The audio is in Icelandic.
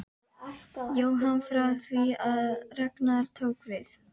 Jóhann: Frá því að Ragnar tók við?